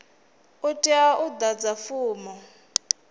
u tea u ḓadza fomo